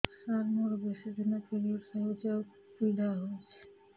ସାର ମୋର ବେଶୀ ଦିନ ପିରୀଅଡ଼ସ ହଉଚି ଆଉ ପୀଡା ହଉଚି